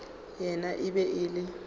yena e be e le